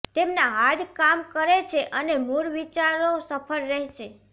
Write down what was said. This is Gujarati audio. તેમના હાર્ડ કામ કરે છે અને મૂળ વિચારો સફળ રહેશે